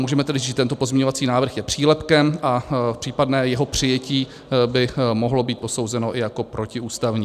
Můžeme tedy říct, že tento pozměňovací návrh je přílepkem a případné jeho přijatí by mohlo být posouzeno i jako protiústavní.